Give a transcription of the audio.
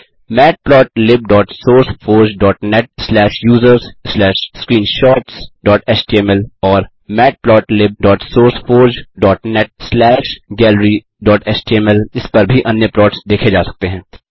matplotlibsourceforgeनेट slash users slash screenshotsएचटीएमएल और matplotlibsourceforgeनेट स्लैश galleryएचटीएमएल इस पर भी अन्य प्लॉट्स देखें जा सकते हैं